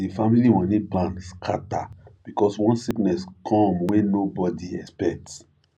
the family money plan scatter because one sickness come wey nobody expect